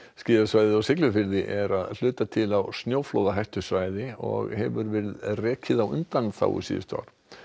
skíðasvæðið á Siglufirði er að hluta til á snjóflóðahættusvæði og hefur verið rekið á undanþágu síðustu ár